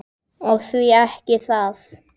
Og því ekki það.